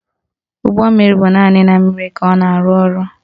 Ụgbọmmiri bụ naanị na mmiri ka ọ na-arụ ọrụ